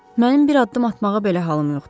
Mənim bir addım atmağa belə halım yoxdur.